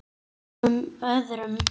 Svona fögnuðu þeir engum öðrum.